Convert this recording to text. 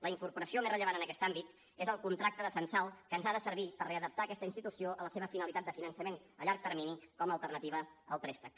la incorporació més rellevant en aquest àmbit és el contracte de censal que ens ha de servir per readaptar aquesta institució a la seva finalitat de finançament a llarg termini com a alternativa al préstec